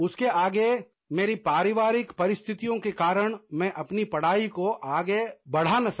उसके आगे मेरी पारिवारिक परिस्थितियों के कारण मैं अपनी पढ़ाई को आगे बढ़ा ना सका